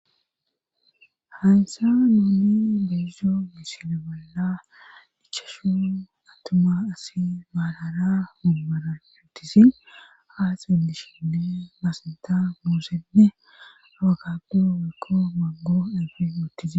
haysa nuoni deezzo misile bolla dhichashun attuma asi maalara munmara yuttisi ha xilishinne masnta muusenne awakappuu wekko maggo ayfi uttize